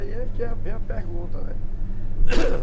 aí que vem a pergunta, né?